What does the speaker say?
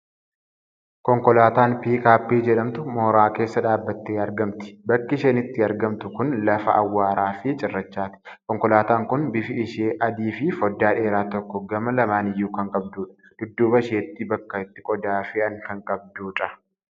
Konkolaataan Piikaappii jedhamtu mooraa keessa dhaabattee argamti. Bakki isheen itti argamtu kun i lafa awwaara fi cirrachaati. Konkolaataan kun bifi ishee adii fii foddaa dheeraa tokko gama lamaaniyyuu kan qabdudha. Dudduuba isheetti bakka itti qodaa fe'an kan qabdudha.